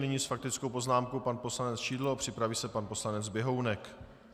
Nyní s faktickou poznámkou pan poslanec Šidlo, připraví se pan poslanec Běhounek.